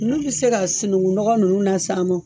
N'u bɛ se ka sinuŋu nɔgɔ nunnu na s'an mɔ